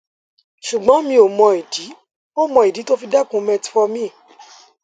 ṣùgbọn mi ò mọ ìdí ò mọ ìdí tó o fi dẹkun metformin